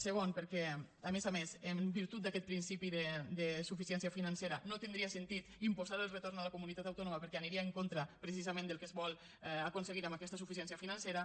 segon perquè a més a més en virtut d’aquest principi de suficiència financera no tindria sentit imposar el retorn a la comunitat autònoma perquè aniria en contra precisament del que es vol aconseguir amb aquesta suficiència financera